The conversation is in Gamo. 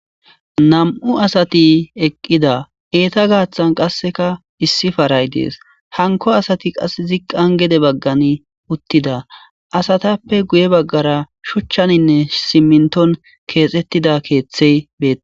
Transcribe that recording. nam7u asati eqqida eeta gaaththan qasseka issi paray dees hanko asati qas ziqqan gede baggan uttida asatappe guye baggara shuchchaninne simminton keexettida keeththey beeta